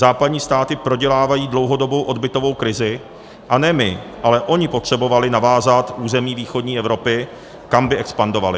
Západní státy prodělávají dlouhodobou odbytovou krizi, a ne my, ale ony potřebovaly navázat území východní Evropy, kam by expandovaly.